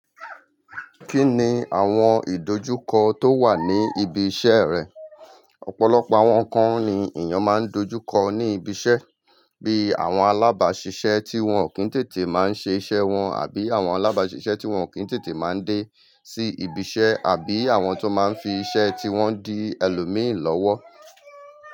Kí ni àwọn ìdojúkọ tó wà ní ibi iṣẹ́ rẹ? Ọ̀pọ̀lọpọ̀ àwọn kan ni èèyàn máa ń dojúkọ ní ibi iṣẹ́, bíi àwọn alábàáṣiṣẹ́ tí wọ́n ò kí n tètè máa ń ṣe iṣẹ́ wọn àbí àwọn alábàáṣiṣẹ́ tí wọ́n ò kí n tètè máa ń dé sí ibi iṣẹ́ àbí àwọn tó máa ń fi iṣẹ́ tí wọ́n di ẹlòmíìnì lọ́wọ́